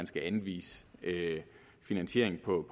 skal anvises finansiering på